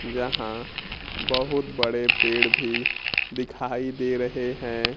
जहां बहुत बड़े पेड़ भी दिखाई दे रहे है।